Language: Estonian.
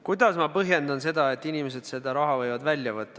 Kuidas ma põhjendan seda, et inimesed võivad selle raha välja võtta?